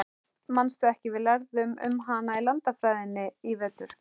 Manstu ekki, við lærðum um hana í landafræðinni í vetur?